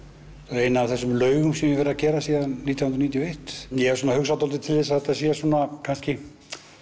ein af þessum laugum sem ég hef verið að gera síðan nítján hundruð níutíu og eitt ég svona hugsa dálítið til þess að þetta sé kannski